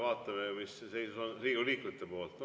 Vaatame, mis Riigikogu liikmete poolt tuleb.